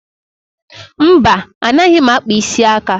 Mba, anaghị m akpa isi aka